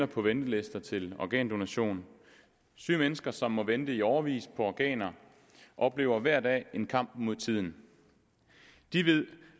på venteliste til organdonation syge mennesker som må vente i årevis på organer oplever hver dag en kamp mod tiden de ved